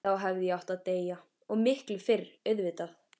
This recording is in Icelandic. Þá hefði ég átt að deyja, og miklu fyrr auðvitað.